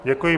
Děkuji.